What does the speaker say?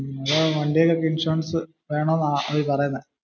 അപ്പോ വണ്ടിയിൽ ഒക്കെ ഇൻഷുറൻസ് വേണം എന്നാണ് നീ പറയുന്നേ.